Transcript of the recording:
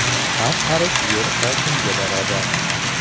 Har qarich yer oltinga barobar.